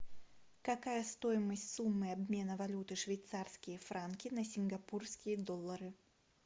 какая стоимость суммы обмена валюты швейцарские франки на сингапурские доллары